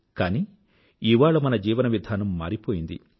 కానీ ఇవాళ మన జీవన విధానం మారిపోయింది